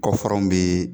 Kɔfaraw bɛ